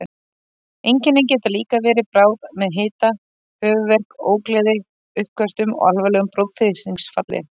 Einkennin geta líka verið bráð með hita, höfuðverk, ógleði, uppköstum og alvarlegu blóðþrýstingsfalli.